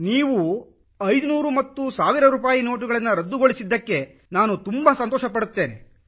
ನೀವು 500 ಮತ್ತು 1 ಸಾವಿರ ರೂಪಾಯಿ ನೋಟುಗಳನ್ನು ರದ್ದುಗೊಳಿಸಿದ್ದಕ್ಕೆ ನಾನು ತುಂಬಾ ಸಂತೋಷಿಸುತ್ತೇನೆ